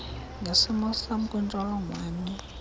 ngesimo sam kwintsholongwane